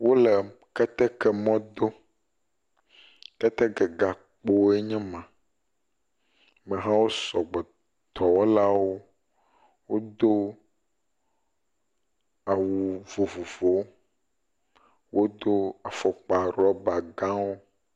Wo le keteke mɔ dom. Keteke gakpowoe nye ma. Amehawo sɔgbɔ. Dɔwɔlawo wodo awu vovovowo. Wodo afɔkpa ɖɔba gãwo.